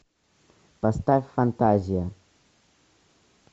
поставь фантазия